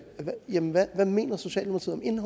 jamen hvad mener socialdemokratiet